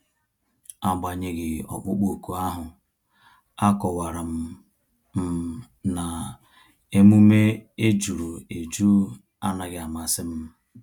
Agbanyeghi ọkpụkpọ ọkụ ahu, a kọwara m m na-emume ejuru eju anaghị amasị m